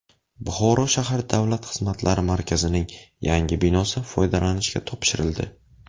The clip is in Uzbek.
Buxoro shahar Davlat xizmatlari markazining yangi binosi foydalanishga topshirildi.